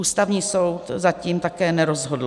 Ústavní soud zatím také nerozhodl.